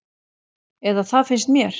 Eða það finnst mér.